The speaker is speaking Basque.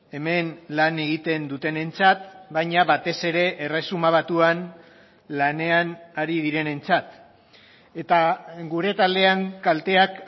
hemen lan egiten dutenentzat baina batez ere erresuma batuan lanean ari direnentzat eta gure taldean kalteak